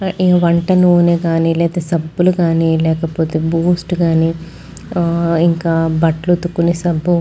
వంట నూనె గానీ లేకపోతే సబ్బులు కానీ లేకపోతే బూస్ట్ గాని ఇంకా బట్టలు ఉతుకునే సబ్బు --